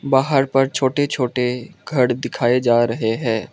बाहर पर छोटे छोटे घर दिखाए जा रहे हैं।